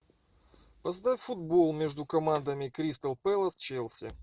поставь футбол между командами кристал пэлас челси